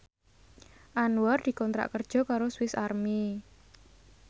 Anwar dikontrak kerja karo Swis Army